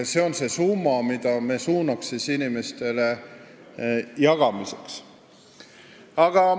See on see summa, mille meie suunaks inimestele jagamiseks.